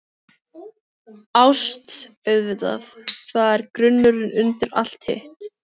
ÁST- auðvitað, það er grunnurinn undir allt hitt.